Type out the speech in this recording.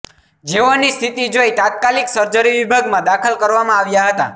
જેઓની સ્થિતિ જોઈ તાત્કાલિક સર્જરી વિભાગમાં દાખલ કરવામાં આવ્યા હતા